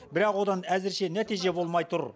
бірақ одан әзірше нәтиже болмай тұр